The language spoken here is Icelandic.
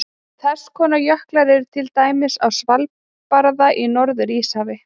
Þess konar jöklar eru til dæmis á Svalbarða í Norður-Íshafi.